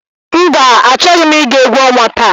Mba achọghị m ị ga egwu ọnwa taa.